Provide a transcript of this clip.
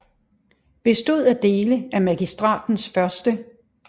Bestod af dele af Magistratens 1